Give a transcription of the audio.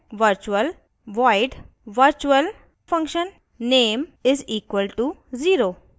virtual void virtualfunname = 0;